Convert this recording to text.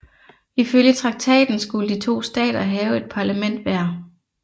Ifølge traktaten skulle de to stater have et parlament hver